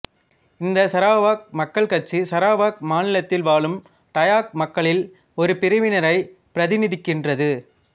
இந்தச் சரவாக் மக்கள் கட்சி சரவாக் மாநிலத்தில் வாழும் டாயாக் மக்களில் ஒரு பிரிவினரைப் பிரதிநிதிக்கின்றது